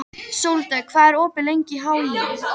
Sóldögg, hvað er opið lengi í HÍ?